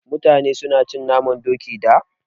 Mutane su na cin naman Doki da